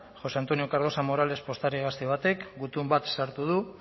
josé antonio cardosa morales postari gazte batek gutun bat sartu du